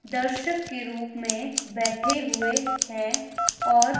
दर्शक के रूप में बैठे हुए हैं और--